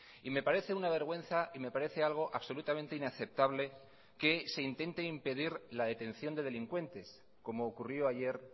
y me parece una vergüenza y me parece algo absolutamente inaceptable que se intente impedir la detención de delincuentes como ocurrió ayer